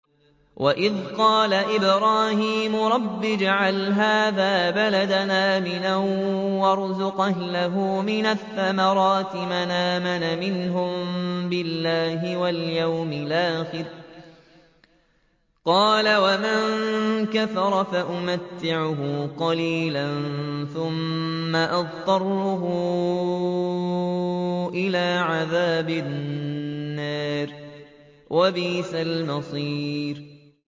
وَإِذْ قَالَ إِبْرَاهِيمُ رَبِّ اجْعَلْ هَٰذَا بَلَدًا آمِنًا وَارْزُقْ أَهْلَهُ مِنَ الثَّمَرَاتِ مَنْ آمَنَ مِنْهُم بِاللَّهِ وَالْيَوْمِ الْآخِرِ ۖ قَالَ وَمَن كَفَرَ فَأُمَتِّعُهُ قَلِيلًا ثُمَّ أَضْطَرُّهُ إِلَىٰ عَذَابِ النَّارِ ۖ وَبِئْسَ الْمَصِيرُ